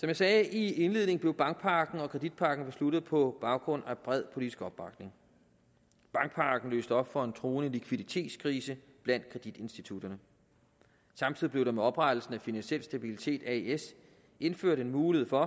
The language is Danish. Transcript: jeg sagde i indledningen blev bankpakken og kreditpakken besluttet på baggrund af bred politisk opbakning bankpakken løste op for en truende likviditetskrise blandt kreditinstitutterne samtidig blev der med oprettelsen af finansiel stabilitet as indført en mulighed for